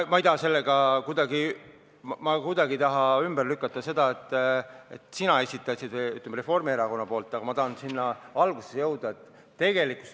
Ma ei taha sellega kuidagi ümber lükata seda, et sina esitasid ettepaneku, ütleme, Reformierakonna nimel, aga ma tahan algusesse jõuda.